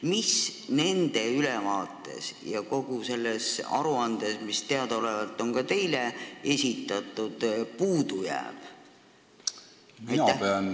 Mis nende ülevaates ja kogu selles aruandes, mis meile teadaolevalt on ka teile esitatud, puudu jääb?